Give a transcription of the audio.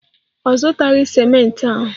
Ọ zụtaghị ciment ahụ.